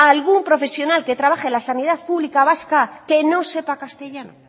a algún profesional que trabaje en la sanidad pública vasca que no sepa castellano